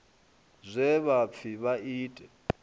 zwe vha pfi vha ite